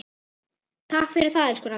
Takk fyrir það, elsku Raggi.